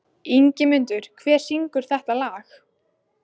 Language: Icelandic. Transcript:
Ingimunda, hver syngur þetta lag?